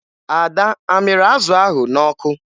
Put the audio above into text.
Ada a mịrị azụ ahụ n'ọkụ?